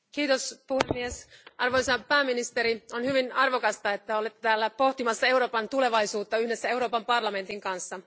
Arvoisa puhemies, arvoisa pääministeri, on hyvin arvokasta, että olette täällä pohtimassa Euroopan tulevaisuutta yhdessä Euroopan parlamentin kanssa.